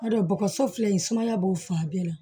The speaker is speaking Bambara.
N'a dɔn bɔgɔso filɛ nin ye sumaya b'o fan bɛɛ la